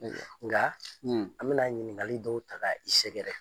Nga an bi na ɲininkali dɔw ta ka i sɛgɛrɛ.